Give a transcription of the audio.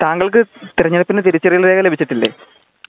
താങ്കൾക്ക് തിരഞ്ഞെടുപ്പിന് തിരിച്ചറിയൽ രേഖ ലഭിച്ചിട്ടില്ലേ